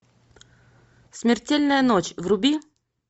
смертельная ночь вруби